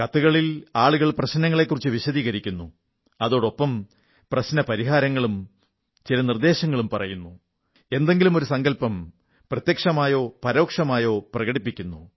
കത്തുകളിൽ ആളുകൾ പ്രശ്നങ്ങളെക്കുറിച്ച് വിശദീകരിക്കുന്നു അതോടൊപ്പം സമാധാനവും എന്തെങ്കിലും നിർദ്ദേശങ്ങളും പറയുന്നു എന്തെങ്കിലുമൊരു സങ്കല്പം പ്രത്യക്ഷമായോ പരോക്ഷമായോ പ്രകടിപ്പിക്കുന്നു